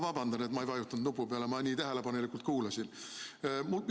Vabandust, et ma ei vajutanud kiiremini nupu peale, ma nii tähelepanelikult kuulasin.